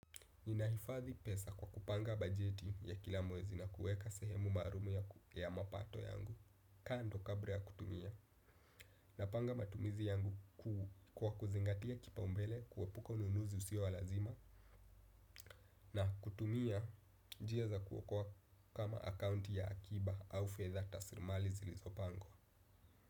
Ninaifadhi pesa kwa kupanga bajeti ya kila mwezi na kueka sehemu maalum ya mapato yangu. Kando kabla ya kutumia napanga matumizi yangu kwa kuzingatia kipa umbele kuepuka ununuzi usio wa lazima. Na kutumia njia za kuokoa kama akaunti ya akiba au fedha taslimali zilizopango.